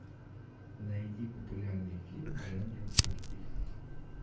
найди популярный фильм в жанре детектив